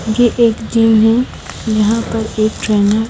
ये एक जिम है यहां पर एक ट्रेनर --